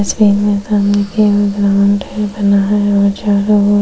सही में उतरने के लिए ग्राउंड है बना है व चारो ओर --